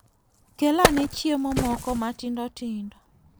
Kel ane chiemo moko matindo tindo.